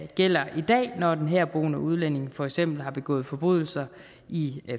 gælder i dag når en herboende udlænding for eksempel har begået forbrydelser i